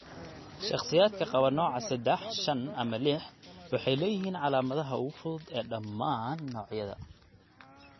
Shakhsiyaadka qaba nooca 3, 5, ama 6 waxay leeyihiin calaamadaha ugu fudud ee dhammaan noocyada.